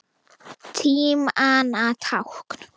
Tímanna tákn?